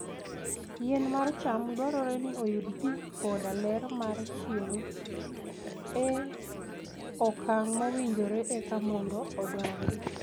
Yien mar cham dwarore ni oyud pi koda ler mar chieng' e okang' mowinjore eka mondo odongi.